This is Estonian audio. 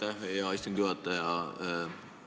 Aitäh, hea istungi juhataja!